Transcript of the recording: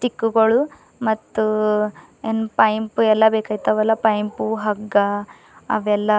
ಇಕ್ಬಳು ಮತ್ತು ಏನ್ ಪೈಂಪ್ ಎಲ್ಲ ಬೇಕಾಯ್ತವಲ್ಲ ಪೈಂಪು ಹಗ್ಗ ಅವೆಲ್ಲಾ--